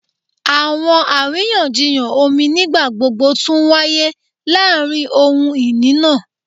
Awọn ariyanjiyan omi nigbagbogbo tun waye laarin ohun-ini naa